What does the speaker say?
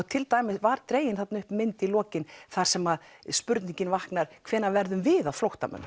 til dæmis var dregin upp mynd í lokin þar sem spurningin vaknar hvenær verðum við að flóttamönnum